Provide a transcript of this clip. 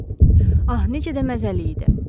Ah, necə də məzəli idi!